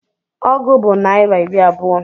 Ọgụ bụ naịra iri abụọ